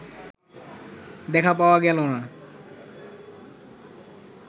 দেখা পাওয়া গেল না